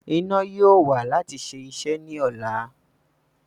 Iná yóò wà láti ṣe iṣẹ́ ní ọ̀la